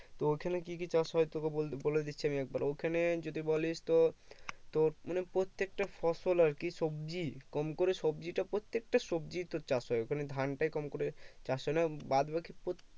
তো ওখানে কি কি চাষ হয় তোকে বল বলে দিচ্ছি আমি একবার ওখানে যদি বলিস তো তোর মানে প্রত্যেকটা ফসল আরকি সবজি কম করে সবজি তা প্রত্যেকটা সবজি তোর চাষ হয় ওখানে ধান তাই কম করে চাষ হয় না বাদ বাকি